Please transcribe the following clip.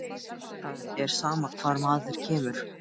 Magngeir, hefur þú prófað nýja leikinn?